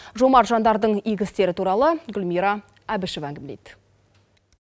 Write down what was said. жомарт жандардың игі істері туралы гүлмира әбішева әңгімелейді